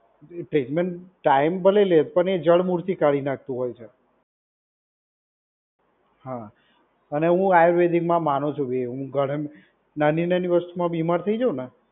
એ treatment time ભલે લે પણ એ જડમુળથી કાઢી નાખતું હોય છે. હા, અને હું આયુર્વેદિકમાં માનું છું નાની નાની વસ્તુમાં બીમાર થઈ જઉ ને